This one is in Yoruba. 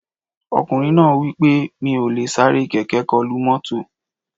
Ọkùnrin náà wí pé Mi ò lè sáré kẹ̀kẹ́ kọlu mọ́tò